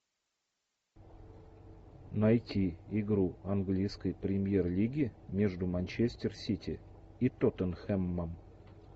найти игру английской премьер лиги между манчестер сити и тоттенхэмом